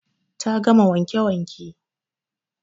Ta gama wanke wanke